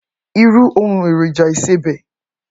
Irù óoùn érójà isébè